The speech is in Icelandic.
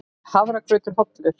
Er hafragrautur hollur?